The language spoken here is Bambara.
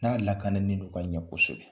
N'a lakanni de ka ɲɛ kosɛbɛ.